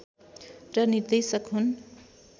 र निर्देशक हुन्